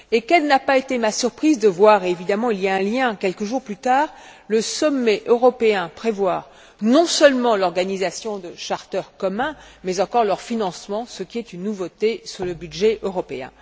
Et quelle n'a pas été ma surprise de voir évidemment il y a un lien quelques jours plus tard, le sommet européen prévoir non seulement l'organisation de charters communs, mais encore leur financement ce qui est une nouveauté sur le budget européen!